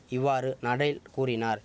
இவ்வாறு நடேல் கூறினார்